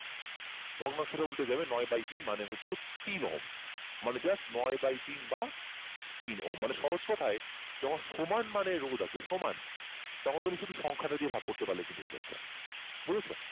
ভগ্নাংশটা উল্টে যাবে নয় by তিন মানে হচ্ছে তিন মানে just নয় by তিন বা তিন ওহম মানে সহজ কথায় যখন সমান মানে রোধ আছে সমান তখন তুমি হচ্ছে সংখ্যাটা দিয়ে ভাগ করলে পারলে কিন্তু হয়ে যাচ্ছে বুঝেছ